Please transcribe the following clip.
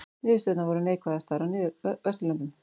Niðurstöðurnar voru neikvæðastar á Vesturlöndum